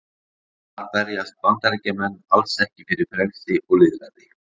þar berjast bandaríkjamenn alls ekki fyrir frelsi og lýðræði